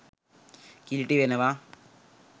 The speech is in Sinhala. කිලිටි වෙනවා.